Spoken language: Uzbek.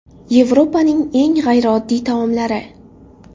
Yevropaning eng g‘ayrioddiy taomlari.